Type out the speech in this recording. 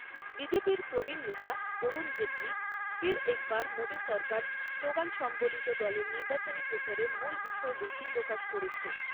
B J P র প্রবীণ নেতা অরুণ জেটলি ফির এক বার মোদী সরকার স্লোগান সম্বলিত দলের নির্বাচনী প্রচারের মূল বিষয়বস্তু প্রকাশ করেছেন।